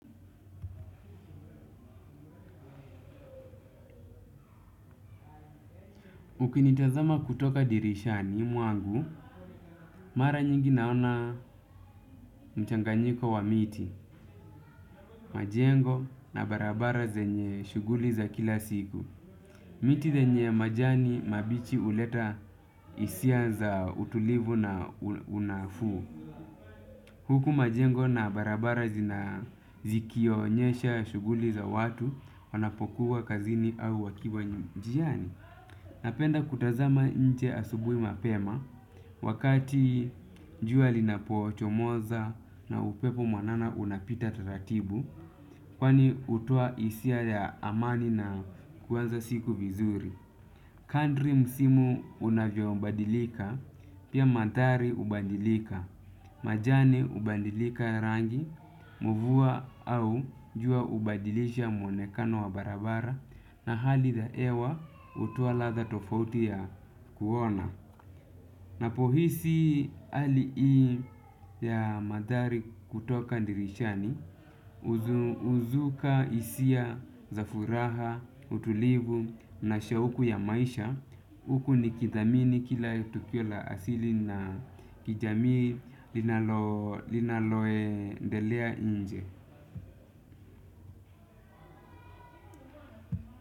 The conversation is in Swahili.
Ukinitazama kutoka dirishani, mwangu, mara nyingi naona mchanganyiko wa miti. Majengo na barabara zenye shughuli za kila siku. Miti zenye majani mabichi uleta hisia za utulivu na unafuu. Huku majengo na barabara zikionyesha shughuli za watu, wanapokua kazini au wakiwa njiani. Napenda kutazama nje asubuhi mapema, wakati jua linapoo chomoza na upepo mwanana unapita tatatibu, kwani hutoa hisia ya amani na kuanza siku vizuri. Kandri msimu unavyobadilika, pia mandhari ubadilika. Majani ubadilika rangi, mvua au jua ubadilisha mwonekano wa barabara na hali ya ewa hutoa ladha tofauti ya kuona. Napohisi hali ii ya madhari kutoka ndirishani, uzuka hisia, za furaha, utulivu na shauku ya maisha, uku nikithamini kila tukio la asili na kijamii. Linaloendelea inje.